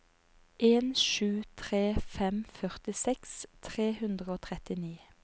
en sju tre fem førtiseks tre hundre og trettini